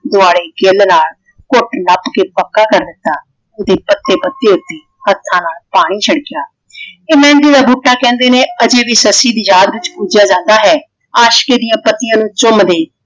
ਦੁਆਲੇ ਕਿੱਲ ਨਾਲ ਘੁੱਟ ਨੱਪ ਕੇ ਪੱਕਾ ਕਰ ਦਿੱਤਾ। ਓਹਦੇ ਪੱਤੇ ਪੱਤੇ ਉੱਤੇ ਹੱਥਾਂ ਨਾਲ ਪਾਣੀ ਛਿਣਕਿਆ। ਇਹ ਮਹਿੰਦੀ ਦਾ ਬੂਟਾ ਕਹਿੰਦੇ ਨੇ ਅਜੇ ਭੀ ਸੱਸੀ ਦੀ ਯਾਦ ਚ ਪੂਜਿਆ ਜਾਂਦਾ ਹੈ। ਆਸ਼ਿਕ਼ ਇਹਦੀ ਪੱਤੀਆਂ ਨੂੰ ਚੁੰਮਦੇ